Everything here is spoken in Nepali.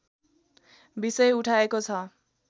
विषय उठाएको छ